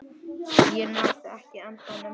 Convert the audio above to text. Ég náði ekki andanum.